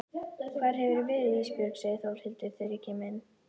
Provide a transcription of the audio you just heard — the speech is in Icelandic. Hvar hefurðu verið Ísbjörg, segir Þórhildur þegar ég kem inn.